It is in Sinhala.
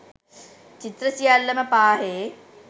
චිත්‍ර සියල්ලම පාහේ